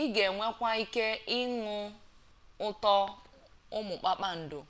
ị ga-enwekwa ike ịnụ ụtọ ụmụ kpakpando